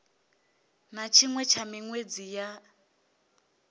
na tshiṅwe tsha miṅwedzi ya